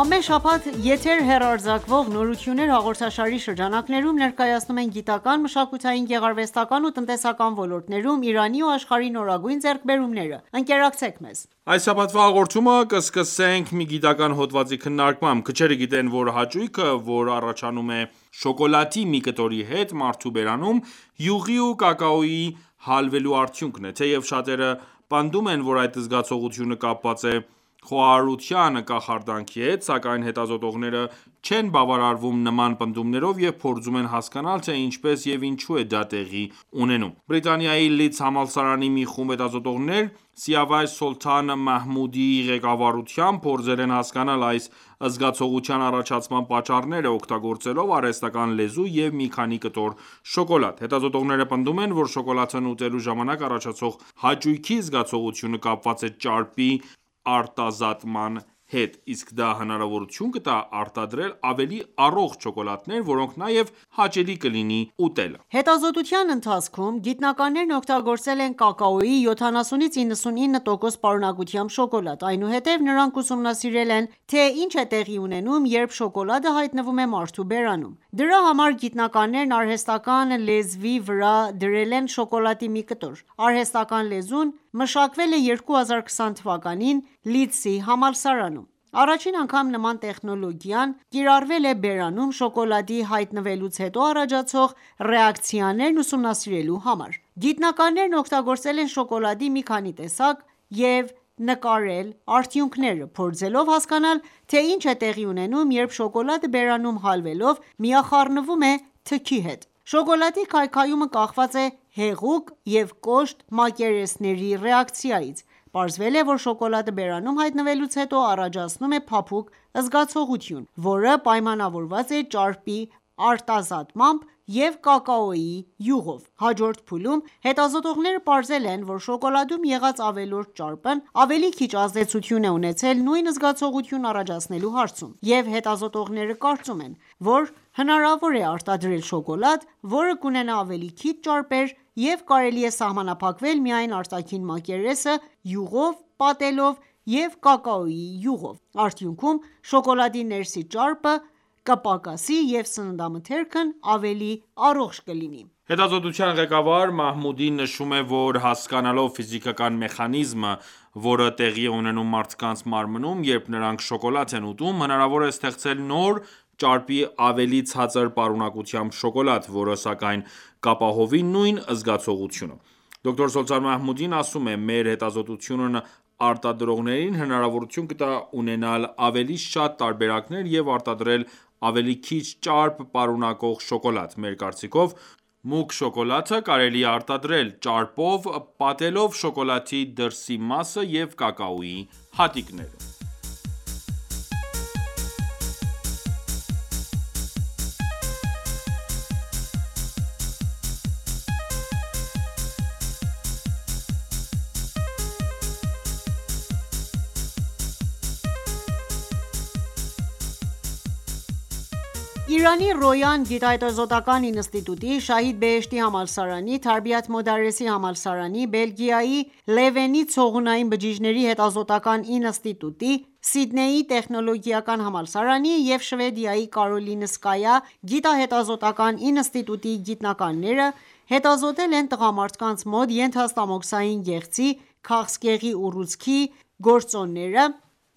Ամեն շաբաթ եթեր հեռարձակվող «Նորություններ» հաղորդաշարի շրջանակներում, ներկայացնում ենք գիտական, մշակութային, գեղարվեստական ու տնտեսական ոլորտներում Իրանի ու աշխարհի նորագույն ձեռքբերումները։ Ընկերակցեք մեզ։ Այս շաբաթվա հաղորդումը սկսում ենք մի գիտական հոդվածի քննարկմամբ: Քչերը գիտեն, որ հաճույքը, որ առաջանում է շոկոլադի մի կտորի հետ մարդու բերանում, յուղի ու կակաոյի հալվելու արդյունքն է: Թեև շատերը պնդում են, որ այդ զգացողությունը կապված է խոհարարության կախարդանքի հետ, սակայն հետազոտողները չեն բավարարվում նման պնդումներով և փորձում են հասկանալ թե ինչպես և ինչու է դա տեղի ունենում: Բրիտանիայի Լիդսի համալսարանի մի խումբ հետազոտողներ, Սիավաշ Սոլթան Մահմուդիի ղեկավարությամբ, փորձել են հասկանալ այս զգացողության առաջացման պատճառները, օգտագործելով արհեստական լեզու և մի քանի կտոր շոկոլադ։ Հետազոտողները պնդում են, որ շոկոլադն ուտելու ժամանակ առաջացող հաճույքի զգացողությունը կապված է ճարպի արտազատման հետ: Իսկ դա հնարավորություն կտա արտարդել ավելի առողջ շոկոլադներ, որոնք նաև հաճելի կլինի ուտել: Հետազոտության ընթացքւոմ գիտնականներն օգտագործել են կակաոյի 70-99 տոկոս պարունակությամբ շոկոլադ: Այնուհետև նրանք ուսումնասիրել են թե ինչ է տեղի ունենում, երբ շոկոլադը հայտնվում է մարդու բերանում: Դրա համար գիտանականներն արհեստական լեզվի վրա դրել են շոկոլադի մի կտոր: Արհեստական լեզուն մշակվել է 2020 թ. Լիդսի համալսարանում: Առաջին անգամ նման տեխնոլոգիան կիրառվել է բերանում շոկոլադի հայտնվելուց հետո առաջացող ռեակցիաներն ուսումնասիրելու համար: Գիտնականներն օգտագործել են շոկոլադի մի քանի տեսակ և նկարել արդյունքները, փորձելով հասկանալ, թե ինչ է տեղի ունենում երբ շոկոլադը բերանում հալվելով միախառնվում է թքի հետ: Շոկոլադի քայքայումը կախված է հեղուկ և կոշտ մակերեսների ռեակցիայից: Պարզվել է, որ շոկոլադը բերանում հայտնվելուց հետո առաջացնում է փափուկ զգացողություն, որը պայմանավորված է ճարպի արտազատմամբ և կակաոյի յուղով: Հաջորդ փուլում հետազոտողները պարզել են, որ շոկոլադում եղած ավելորդ ճարպն ավելի քիչ ազդեցություն է ունեցել նույն զգացողությունն առաջացնելու հարցում: Եվ հետազոտողները կարծում են, որ հնարավոր է արտադրել շոկոլադ, որը կունենա ավելի քիչ ճարպեր և կարելի է սահմանափակվել միայն արտաքին մակերեսը յուղով պատելով և կակաոյի յուղով: Արդյունքում շոկոլադի ներսի ճարպը կպակասի և սննդամթերքն ավելի առողջ կլինի: Հետազոտության ղեկավար Մահմուդին նշում է, որ հասկանալով ֆիզիկական մեխանիզմը, որը տեղի է ունենում մարդկանց մարմնում, երբ նրանք շոկոլադ են ուտում, հնարավոր է ստեղծել նոր՝ ճարպի ավելի ցածր պարունակությամբ շոկոլադ, որը սակայն կապահովի նույն զգացողությունը: Դոկտոր Սոլթան Մահմուդին ասում է. «Մեր հետազոտությունն արտադրողներին հնարավորություն կտա ունենալ ավելի շատ տարբերակներ և արտադրել ավելի քիչ ճարպ պարունակող շոկոլադ: Մեր կարծիքով, մուգ շոկոլադը կարելի է արտադրել՝ ճարպով պատելով շոկոլադի դրսի մասը և կակաոյի հատիկները»: Իրանի Ռոյան գիտահետազոտական ինստիտուտի, Շահիդ Բեհեշթիի համալսարանի, Թարբիաթ Մոդարեսի համալսարանի, Բելգիայի Լևենի ցողունային բջիջների հետազոտական ինստիտուտի, Սիդնեյի տեխնոլոգիական համալսարանի և Շվեդիայի Կարոլինսկայի գիտահետազոտական ինստիտուտի գիտնականները հետազոտել են տղամարդկանց մոտ ենթաստամոքսային գեղձի քաղցկեղի ուռուցքածին գործոնները